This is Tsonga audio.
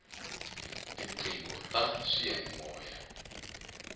tiqingho ta swiyani moya